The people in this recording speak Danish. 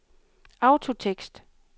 autotekst